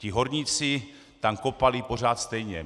Ti horníci tam kopali pořád stejně.